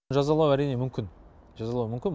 жазалау әрине мүмкін жазалау мүмкін